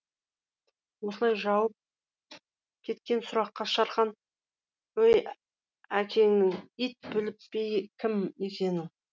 осылай жауып кеткен сұраққа шархан өй әкеңнің ит біліп пе кім екенін